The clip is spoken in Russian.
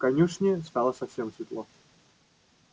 в конюшне стало совсем светло